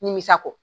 Nimisa kɔ